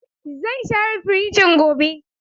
Zan share firijin gobe.